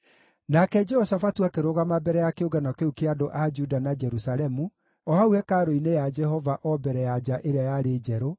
Nake Jehoshafatu akĩrũgama mbere ya kĩũngano kĩu kĩa andũ a Juda na Jerusalemu, o hau hekarũ-inĩ ya Jehova o mbere ya nja ĩrĩa yarĩ njerũ,